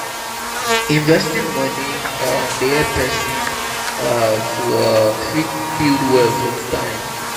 investing money um dey help person um to um fit build wealth with time